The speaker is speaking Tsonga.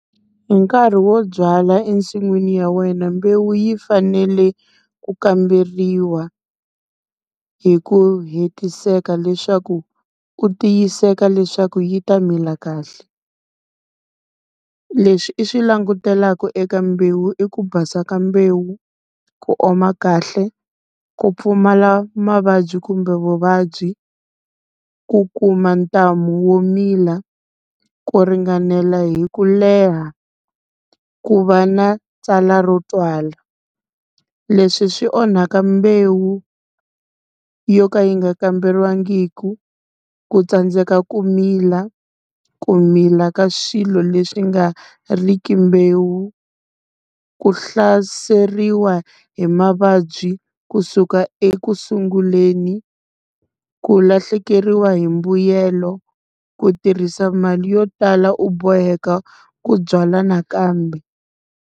Hi nkarhi wo byala ensin'wini ya wena, mbewu yi fanele ku kamberiwa hi ku hetiseka leswaku u tiyiseka leswaku yi ta mila kahle. Leswi i swi langutelaka eka mbewu i ku basa ka mbewu, ku oma kahle, ku pfumala mavabyi kumbe vuvabyi, ku kuma ntamu wo mila ku ringanela hi ku leha ku va na tsalwa ro twala. Leswi swi onhaka mbewu yo ka yi nga kamberiwangiki, ku tsandzeka ku mila ku mila ka swilo leswi nga riki mbewu. Ku hlaseriwa hi mavabyi kusuka ekusunguleni, ku lahlekeriwa hi mbuyelo ku tirhisa mali yo tala u boheka ku byala nakambe.